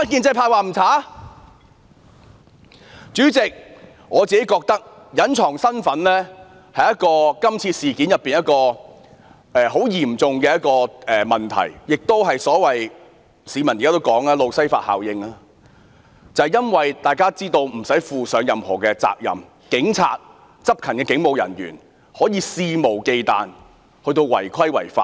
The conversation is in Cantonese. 主席，我覺得警員隱藏身份是今次事件中一個很嚴重的問題，亦即市民現時說的"路西法效應"，因為若隱藏身份便不用負上任何責任，執勤的警務人員因而可以肆無忌憚違規違法。